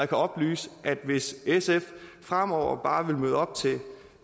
kan oplyse at hvis sf fremover bare vil møde op til